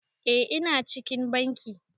Eh ina cikin bankin.